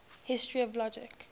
history of logic